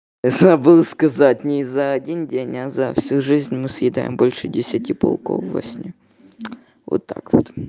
забыл сказать не за один день а за всю жизнь мы съедаем больше десяти пауков во сне вот так вот